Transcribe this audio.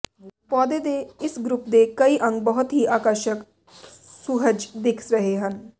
ਪੌਦੇ ਦੇ ਇਸ ਗਰੁੱਪ ਦੇ ਕਈ ਅੰਗ ਬਹੁਤ ਹੀ ਆਕਰਸ਼ਕ ਸੁਹਜ ਦਿੱਖ ਰਹੇ ਹਨ